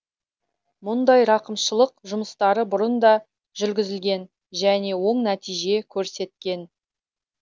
мұндай рақымшылық жұмыстары бұрын да жүргізілген және оң нәтиже көрсеткен